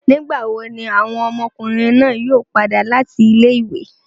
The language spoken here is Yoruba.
Nigbawo ni awọn ọmọkunrin naa yoo pada lati ile-iwe?